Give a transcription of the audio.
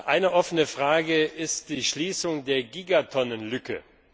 Eine offene Frage ist die Schließung der Gigatonnenlücke.